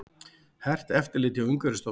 Hert eftirlit hjá Umhverfisstofnun